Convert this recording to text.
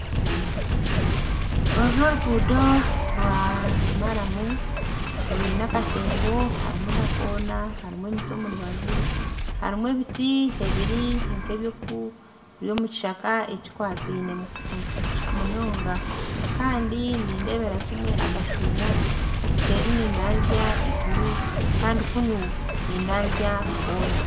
Oru n'oruguudo rwa maramu rwine akatembo harumu na koona harumu emiti omurubaju harumu ebiti ebiri nkebyomukishaka ekikwataine munonga Kandi nindebera kimwe akashuumo obuseeri nindanzya iguru Kandi kunu nindanzya koona